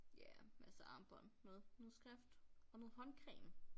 Ja masse armbånd noget noget skrift og noget håndcreme